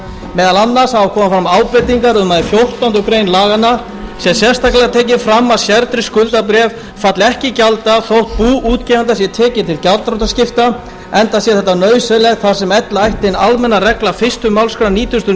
meðal annars hafa komið fram ábendingar um að í fjórtándu greinar laganna sé sérstaklega tekið fram að sértryggð skuldabréf falli ekki í gjalddaga þótt bú útgefanda sé tekið til gjaldþrotaskipta enda sé þetta nauðsynlegt þar sem ella ætti hin almenna regla fyrstu málsgrein nítugasta og